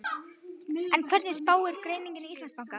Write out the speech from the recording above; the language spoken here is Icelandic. En hverju spáir greining Íslandsbanka?